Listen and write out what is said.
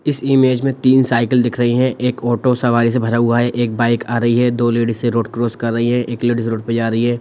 इस इमेज में तीन साइकिल दिख रही हैं एक ऑटो सवारी से भरा हुआ है एक बाइक आ रही है दो लेडिस रोड क्रॉस कर रही है एक लेडिस रोड पे जा रही है।